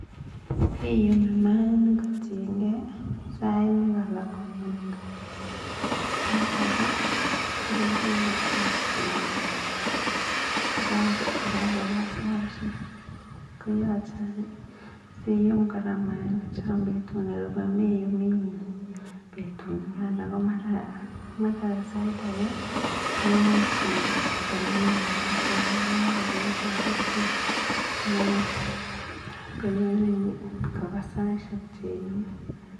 KIyumi mayainik kotienke sait nekalakune ngokiet kosait ake kolaku ngokiet kokapa saisiek, keyache any sium kora mayainik chon betun na meyumi betu nikan sait ake koimuch konamin kisishek alak mara keiku busy kopendi saishek cheyume.